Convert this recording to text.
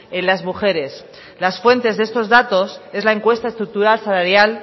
en las mujeres las fuentes de estos datos es la encuesta estructural salarial